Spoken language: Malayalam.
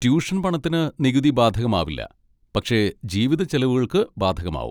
ട്യൂഷൻ പണത്തിന് നികുതി ബാധകമാവില്ല, പക്ഷെ ജീവിത ചെലവുകൾക്ക് ബാധകമാവും.